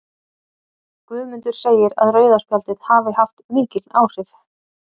Guðmundur segir að rauða spjaldið hafi haft mikil áhrif.